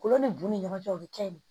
Kolo ni bu ni ɲɔgɔn cɛ o bɛ kɛ de